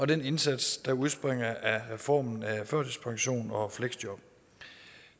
den indsats der udspringer af reformen af førtidspension og fleksjob